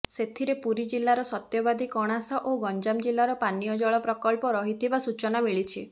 ସେଥିରେ ପୁରୀ ଜିଲ୍ଲାର ସତ୍ୟବାଦୀ କଣାସ ଓ ଗଞ୍ଜାମ ଜିଲ୍ଲାର ପାନୀୟ ଜଳ ପ୍ରକଳ୍ପ ରହିଥିବା ସୂଚନା ମିଳିଛି